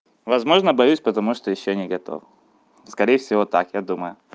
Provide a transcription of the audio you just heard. возможно боюсь потому что ещё не готов скорее всего так я думаю